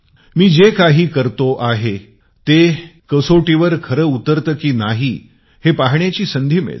मी जे काही करतो आहे ते कसोटीवर खरे उतरते की नाही हे पाहण्याची संधी मिळते